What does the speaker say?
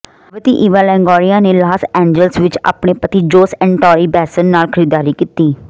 ਗਰਭਵਤੀ Eva Longoria ਨੇ Los Angeles ਵਿੱਚ ਆਪਣੇ ਪਤੀ ਜੋਸ ਐਂਟੋਨੀ ਬੈਸਨ ਨਾਲ ਖਰੀਦਦਾਰੀ ਕੀਤੀ